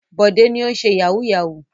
Bọ̀dé ni ó ń ṣe yahoo yahoo.